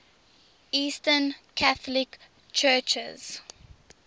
eastern catholic churches